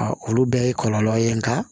olu bɛɛ ye kɔlɔlɔ ye nka